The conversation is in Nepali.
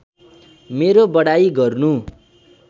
मेरो बढाइ गर्नु